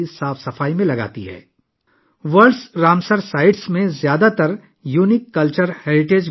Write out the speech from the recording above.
زیادہ تر words Ramsar sites کا بھی ایک منفرد ثقافتی ورثہ ہے